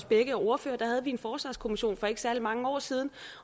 begge er ordførere havde vi en forsvarskommission for ikke særlig mange år siden